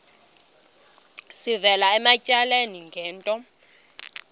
sivela ematyaleni ngento